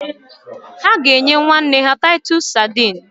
Ha ga-eji enye nwanne ya taitus Sadini